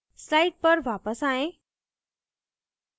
slides पर वापस आएँ